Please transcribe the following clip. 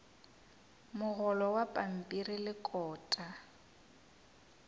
mogolo wa pampiri le kota